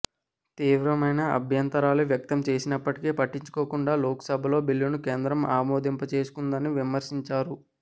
తీవ్రమైన అభ్యంతరాలు వ్యక్తం చేసినప్పటికీ పట్టించుకోకుండా లోక్సభలో బిల్లును కేంద్రం ఆమోదింప చేసుకుందని విమర్శించారు